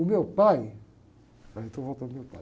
O meu pai... Aí eu estou voltando ao meu pai.